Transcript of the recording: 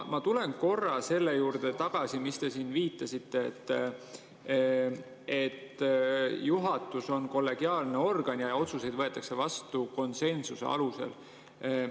Ma tulen korra tagasi selle juurde, millele te siin viitasite: juhatus on kollegiaalne organ ja otsused võetakse vastu konsensuse alusel.